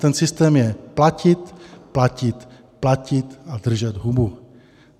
Ten systém je platit, platit, platit a držet hubu.